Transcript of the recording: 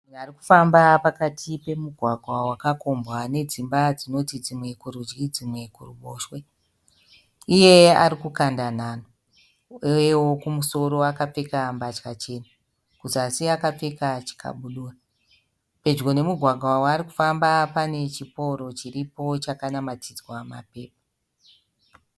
Munhu ari kufamba pakati pemugwagwa wakakombwa nedzimba dzinoti dzimwe kurudyi dzimwe kuruboshe. Iye ari kukanda nhanho uyewo kumusoro akapfeka mbatya chena, kuzasi akapfeka chikabudura. Pedyo nemugwagwa waari kufamba pane chipooro chiripo chakanamatidzwa mapepa.